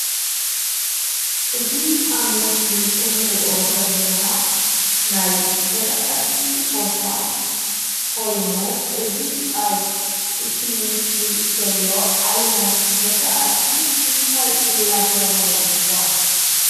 እዚ ኣብ ምስሊ ንርኦ ዘለና ናይ ዝርኣቲ ቦታ ኮይኑ እዚ አብ እቲ ምስሊ ዘሎ ዓይነት ዝርኣቲ እንታይት እደተበሃለ ይፅዋዕ?